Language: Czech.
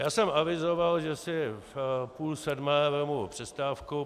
Já jsem avizoval, že si v půl sedmé vezmu přestávku.